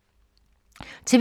TV 2